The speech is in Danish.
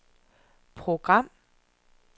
program